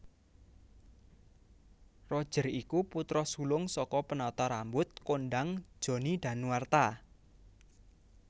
Roger iku putra sulung saka penata rambut kondhang Johnny Danuarta